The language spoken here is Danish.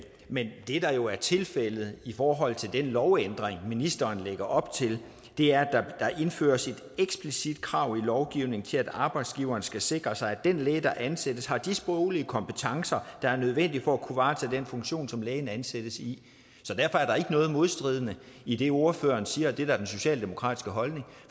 men det der jo er tilfældet i forhold til den lovændring ministeren lægger op til er at der indføres et eksplicit krav i lovgivningen til at arbejdsgiveren skal sikre sig at den læge der ansættes har de sproglige kompetencer der er nødvendige for at kunne varetage den funktion som lægen ansættes i så derfor er der ikke noget modstridende i det ordføreren siger og det der er den socialdemokratiske holdning